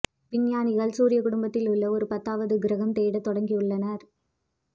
விஞ்ஞானிகள் சூரிய குடும்பத்தில் உள்ள ஒரு பத்தாவது கிரகம் தேட தொடங்கியுள்ளனர்